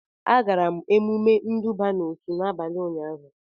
Agara m emume nduba n'otu n'abalị ụnyaahụ